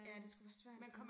Ja det skulle være svært